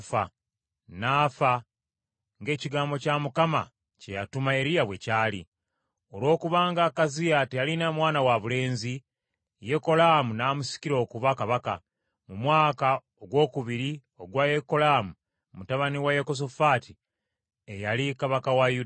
N’afa, ng’ekigambo kya Mukama kye yatuma Eriya bwe kyali. Olwokubanga Akaziya teyalina mwana wabulenzi, Yekolaamu n’amusikira okuba kabaka, mu mwaka ogwokubiri ogwa Yekolaamu mutabani wa Yekosafaati eyali kabaka wa Yuda.